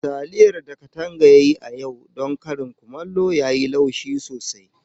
Taliyar da Kadanga ya yi don karin kumallo yau, yayi laushi sosai.